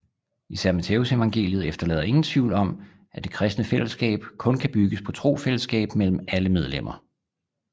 Især Mattæusevangeliet efterlader ingen tvivl om at det kristne fællesskab kun kan bygges på trosfællesskab mellem alle medlemmer